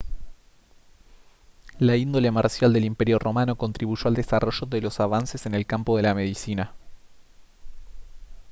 la índole marcial del imperio romano contribuyó al desarrollo de los avances en el campo de la medicina